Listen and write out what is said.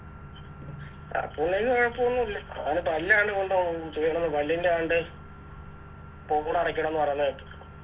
അപ്പുണ്ണിക്ക് കൊഴപ്പോന്നുല്ല അവൻ പല്ലാണ്ട് കൊണ്ട് അഹ് കെടന്ന് പല്ലിൻറെ ആണ്ട് പോടടക്കണം ന്ന് പറയുന്ന കേട്ട്